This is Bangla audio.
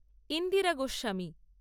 ইন্দিরা গোস্বামী